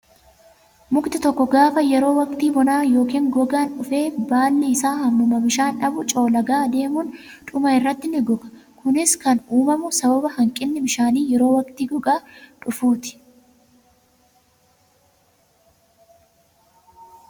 Mukti tokko gaafa yeroo waqtii bonaa yookaan gogaan dhufe baalli isaa hammuma bishaan dhabu coollagaa deemuun dhuma irratti ni goga. Kunis kan uumamu sababa hanqinni bishaanii yeroo waqtii gogaa dhufuufi.